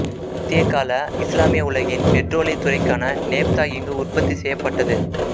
மத்தியகால இஸ்லாமிய உலகின் பெற்றோலியத் துறைக்கான நேப்தா இங்கு உற்பத்தி செய்யப்பட்டது